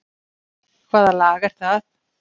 Hvaða lag er það?